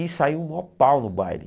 E saiu um maior pau no baile.